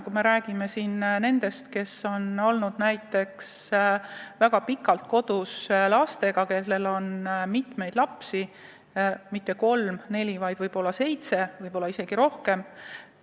Ma mõtlen näiteks neid, kes on olnud lastega väga pikalt kodus, kellel pole mitte kolm-neli last, vaid võib-olla seitse, võib-olla isegi rohkem.